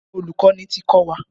Olùkọ́ni ti kọ́ wa.